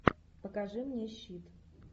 покажи мне щит